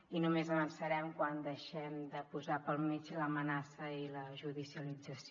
i només avançarem quan deixem de posar pel mig l’amenaça i la judicialització